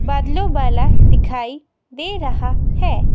बादलों वाला दिखाई दे रहा है.